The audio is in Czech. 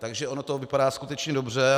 Takže ono to vypadá skutečně dobře.